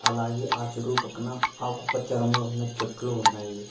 అలాగేయ్ ఆహ్ చెరువు పక్కన ఆకుపచ్చ రంగు ఉన్న చెట్లు ఉన్నాయి